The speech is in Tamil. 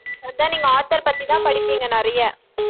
அதான் நீங்க author பத்திதான் படிப்பீங்க நிறைய